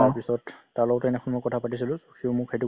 তাৰ পিছত তাৰ লগতো এনেই phone ত কথা পাতিছিলো। সিও মোক সেইটো